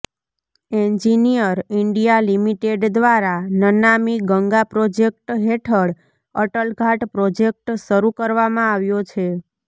engineer India Limited દ્વારા Namami Ganga project હેઠળ Atal Ghat project શરૂ કરવામાં આવ્યો છે